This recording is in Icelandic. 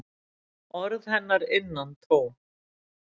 Orð hennar innantóm.